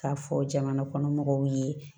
K'a fɔ jamana kɔnɔ mɔgɔw ye